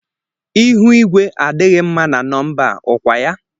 Ihu igwé a dịghị mma na Nọmba a, ọ kwa ya?